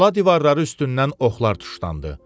Qala divarları üstündən oxlar tuşlandı.